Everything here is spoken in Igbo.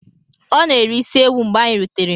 O na-eri isi ewu mgbe anyi rutere.